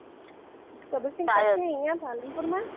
કબીરશિહ પછી અહીંયા પાલનપુરમાં?